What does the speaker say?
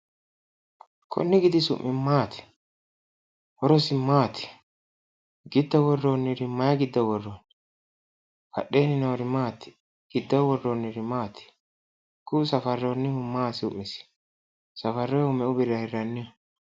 Kunni gidi su'mi maati? Horosi maati? Giddo worroonniri mayi giddo worroonni? Badheenni noori maati? Giddoo worroonniri maati? Kuu"u safarroonniri maati su'misi? Safarroyihu meu birrira hirranniho?